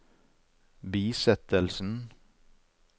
bisettelsen